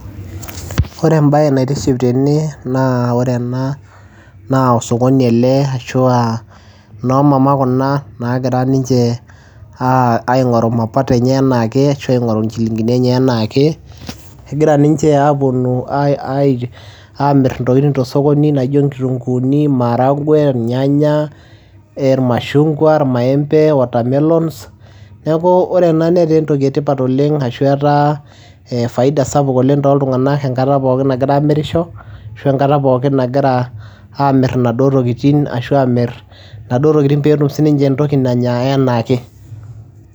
Ore embaye naitiship tene naa ore ena naa osokoni ele ashu aa noo mamaa kuna naagira ninche aing'oru mapato enye enaa ake ashu aing'oru inchiling'ini enye enaa ake. Egira ninche aaponu ai ai aamir intokitin to osokoni naijo inkitung'uuni, imaragwe, irnyanya, ee irmashung'wa, irmaembe, watermelons. Neeku ore ena netaa entoki e tipat oleng' ashu etaa ee faida sapuk oleng' toltung'anak enkata pookin nagira aamirisho ashu enkata pookin nagira aamir inaduo tokitin ashu aamir inaduo tokitin peetum sininche entoki nanya enaa ake.